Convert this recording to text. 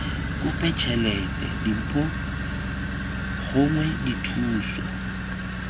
kope tšhelete dimpho gongwe dithuso